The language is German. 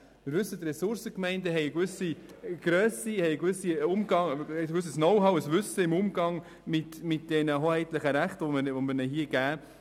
Wir wissen, dass die Ressourcengemeinden eine gewisse Grösse und gewisse Kenntnisse im Umgang mit den hoheitlichen Rechten haben, die wir Ihnen hier geben.